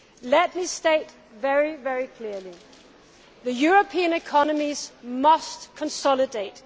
Let me state very clearly that the European economies must consolidate.